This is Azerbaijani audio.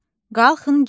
Qalxın gedək.